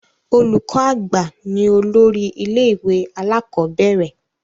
Olùkọ àgbà ni olórí ilé ìwé alakọ̀bẹ́ẹ́rẹ̀